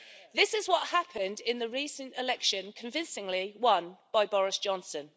This is what happened in the recent election, which was convincingly won by Boris Johnson.